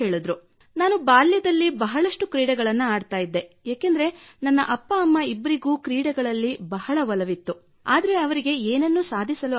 ನಾನು ಬಾಲ್ಯದಲ್ಲಿ ಬಹಳಷ್ಟು ಕ್ರೀಡೆಗಳನ್ನು ಆಡುತ್ತಿದ್ದೆ ಏಕೆಂದರೆ ನನ್ನ ಅಪ್ಪ ಅಮ್ಮ ಇಬ್ಬರಿಗೂ ಕ್ರೀಡೆಗಳಲ್ಲಿ ಬಹಳ ಒಲವಿತ್ತು ಆದರೆ ಅವರಿಗೆ ಏನನ್ನೂ ಸಾಧಿಸಲು ಆಗಿರಲಿಲ್ಲ